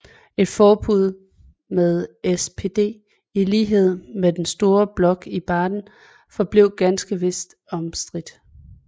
Et forbund med SPD i lighed med den store blok i Baden forblev ganske vist omstridt